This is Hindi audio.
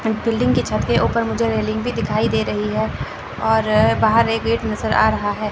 बिल्डिंग की छत के ऊपर मुझे रेलिंग भी दिखाई दे रही है और बाहर एक गेट नजर आ रहा है।